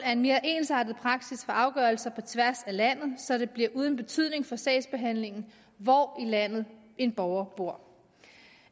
er en mere ensartet praksis for afgørelser på tværs af landet så det bliver uden betydning for sagsbehandlingen hvor i landet en borger bor